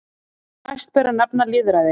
Næst ber að nefna lýðræði.